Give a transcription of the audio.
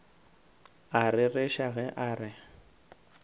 a rereša ge a re